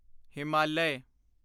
Himalaya